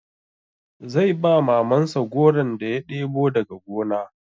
Zai ba Mamansa goron da ya ɗebo daga gona.